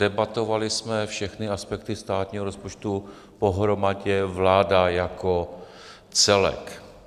Debatovali jsme všechny aspekty státního rozpočtu pohromadě, vláda jako celek.